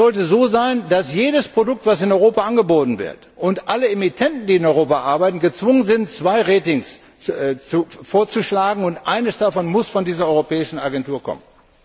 Es sollte so sein, dass jedes Produkt, das in Europa angeboten wird, und alle Emittenten, die in Europa arbeiten, gezwungen sein sollten, zwei Ratings vorzuschlagen, und eines davon muss von dieser europäischen Agentur kommen.